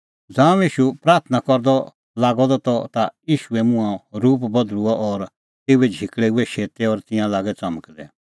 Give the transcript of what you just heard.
ज़ांऊं ईशू प्राथणां करदअ त लागअ द ता ईशूए मुंहों रूप बधल़ुअ और तेऊए झिकल़ै हुऐ शेतै और तिंयां लागै च़मकदै